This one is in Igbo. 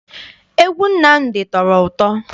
Egwu Nnamdi tọrọ ụtọ.